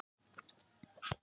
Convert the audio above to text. Palli, opnaðu dagatalið mitt.